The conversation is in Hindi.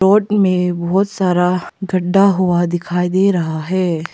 रोड में बहुत सारा गढ्ढा हुआ दिखाई दे रहा है।